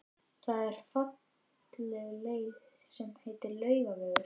Það er falleg leið sem heitir Laugavegur.